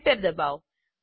enter ડબાઓ